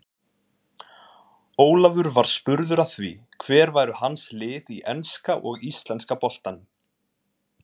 Ólafur var spurður að því hver væru hans lið í enska og íslenska boltanum.